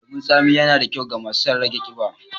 lemon tsami yana da kyau ga masu sun rage ƙiba.